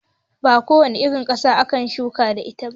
Ba ko wace irin ƙasa ake shuka da ita ba.